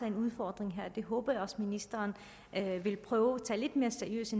en udfordring her det håber jeg også ministeren vil prøve at tage lidt mere seriøst i